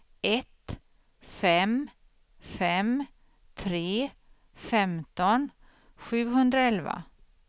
ett fem fem tre femton sjuhundraelva